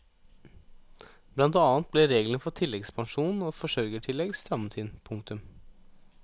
Blant annet ble reglene for tilleggspensjon og forsørgertillegg strammet inn. punktum